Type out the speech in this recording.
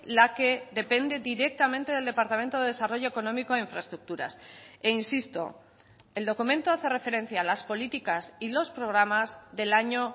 la que depende directamente del departamento de desarrollo económico e infraestructuras e insisto el documento hace referencia a las políticas y los programas del año